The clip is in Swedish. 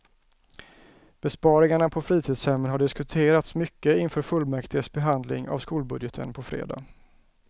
Besparingarna på fritidshemmen har diskuterats mycket inför fullmäktiges behandling av skolbudgeten på fredag.